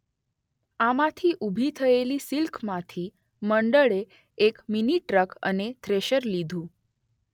આમાંથી ઊભી થયેલી સિલકમાંથી મંડળે એક મીની ટ્રક અને થ્રેશર લીધું.